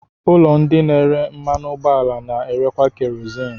Ụlọ ndị na-ere mmanụ ụgbọala na-erekwa kerozini.